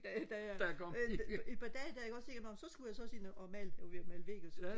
da jeg et par dage der ikke også så tænkte jeg nå så skulle jeg også ind og male jeg var ved og male vægge og sådan